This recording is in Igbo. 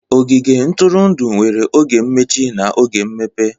Ogige ntụrụndụ nwere oge mmechi na oge mmepe